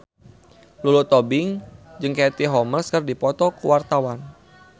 Lulu Tobing jeung Katie Holmes keur dipoto ku wartawan